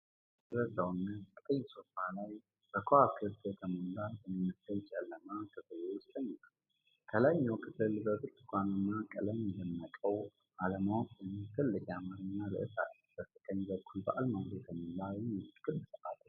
ከፊል የደበዘዘ ሰውነት ቀይ ሶፋ ላይ በከዋክብት የተሞላ በሚመስል ጨለማ ክፍል ውስጥ ተኝቷል። ከላይኛው ክፍል በብርቱካናማ ቀለም የደመቀው "አለማወቅ" የሚል ትልቅ የአማርኛ ርዕስ አለ። በስተቀኝ በኩል በአልማዝ የተሞላ የሚመስል ክብ ሰዓት ተሰቅሏል።